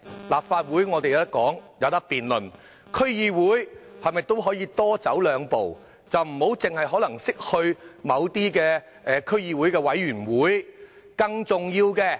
立法會有機會進行辯論，區議會方面是否也可以多走兩步，而非單單去某些區議會的委員會？